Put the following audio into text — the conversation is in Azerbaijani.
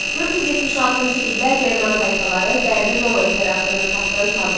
476-cı ildə German tayfaları Qərbi Roma İmperatorunu taxtdan saldılar.